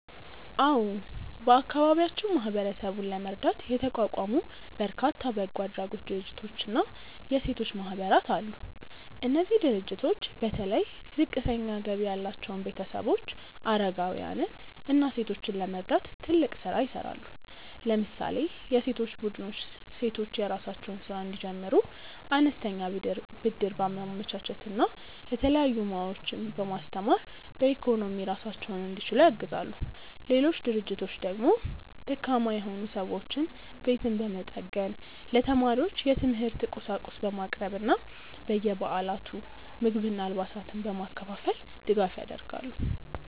አዎ፣ በአካባቢያችን ማህበረሰቡን ለመርዳት የተቋቋሙ በርካታ በጎ አድራጎት ድርጅቶችና የሴቶች ማህበራት አሉ። እነዚህ ድርጅቶች በተለይ ዝቅተኛ ገቢ ያላቸውን ቤተሰቦች፣ አረጋውያንን እና ሴቶችን ለመርዳት ትልቅ ስራ ይሰራሉ። ለምሳሌ የሴቶች ቡድኖች ሴቶች የራሳቸውን ስራ እንዲጀምሩ አነስተኛ ብድር በማመቻቸት እና የተለያዩ ሙያዎችን በማስተማር በኢኮኖሚ ራሳቸውን እንዲችሉ ያግዛሉ። ሌሎች ድርጅቶች ደግሞ ደካማ የሆኑ ሰዎችን ቤት በመጠገን፣ ለተማሪዎች የትምህርት ቁሳቁስ በማቅረብ እና በየበዓላቱ ምግብና አልባሳትን በማከፋፈል ድጋፍ ያደርጋሉ።